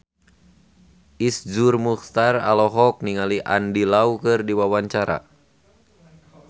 Iszur Muchtar olohok ningali Andy Lau keur diwawancara